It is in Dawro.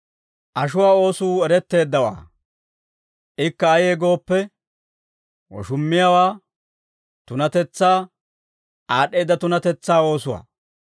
Ashuwaa oosuu eretteeddawaa; ikka ayee gooppe, woshummiyaawaa, tunatetsaa, aad'd'eedda tunatetsaa oosuwaa,